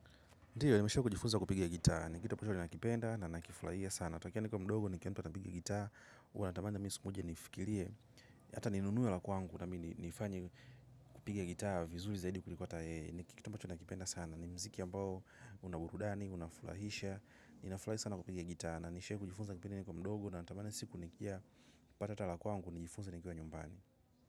Ndiyo, nimeshakujifunza kupigia gitaa. Ni kitu ambacho nakipenda na nakifurahia sana. Tokea ni kwa mdogo ni kianto na napigia gitaa. Huwa natamani mimi sikuu moja nifikirie. Hata ninunue la kwangu na mimi nifanye kupiga gitaa vizuei zaidi kuliko hata yeye. Ni kitu ambacho nakipenda sana. Ni mziki ambao una burudani, unafurahisha. Ninafurahi sana kupiga gitaa. Na nishawahi kujifunza kupiga gitaa na nishe kujifunza kipindi nikiwa mdogo na natamani siku nikiwa pata hata la kwangu ni jifunze nikiwa nyumbani.